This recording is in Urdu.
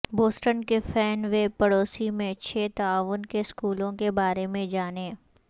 بوسٹن کے فین وے پڑوسی میں چھ تعاون کے اسکولوں کے بارے میں جانیں